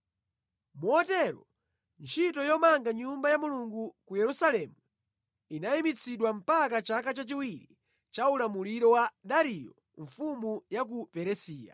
Motero ntchito yomanga Nyumba ya Mulungu ku Yerusalemu inayimitsidwa mpaka chaka cha chiwiri cha ulamuliro wa Dariyo mfumu ya ku Perisiya.